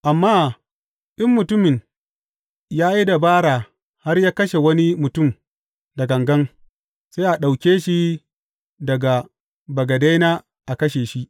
Amma in mutumin ya yi dabara har ya kashe wani mutum da gangan, sai a ɗauke shi daga bagadena a kashe shi.